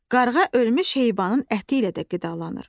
Qarğa ölmüş heyvanın əti ilə də qidalanır.